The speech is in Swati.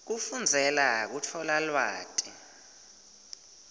kufundzela kutfola lwati